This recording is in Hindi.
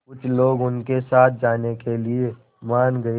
कुछ लोग उनके साथ जाने के लिए मान गए